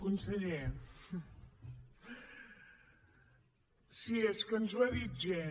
conseller sí és que ens ho ha dit gent